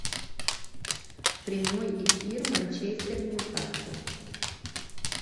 прямой эфир манчестер ньюкасл